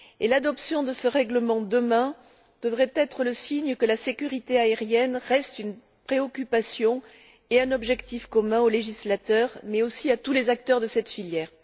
L'adoption de ce règlement demain devrait être le signe que la sécurité aérienne reste une préoccupation et un objectif commun aux législateurs mais aussi à tous les acteurs de cette filière.